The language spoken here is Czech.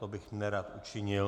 To bych nerad učinil.